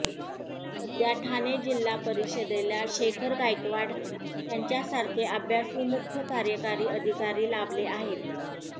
सध्या ठाणे जिल्हा परिषदेला शेखर गायकवाड यांच्यासारखे अभ्यासू मुख्य कार्यकारी अधिकारी लाभले आहेत